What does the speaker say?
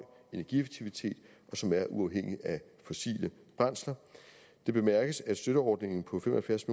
energieffektivitet som er uafhængigt af fossile brændsler det bemærkes at støtteordningen på fem og halvfjerds